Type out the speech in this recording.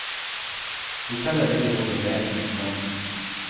Hotellet ligger over veien for stranden.